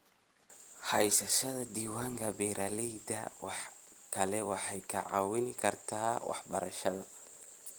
Haysashada diiwaanka beeralayda kale waxay kaa caawin kartaa waxbarashada.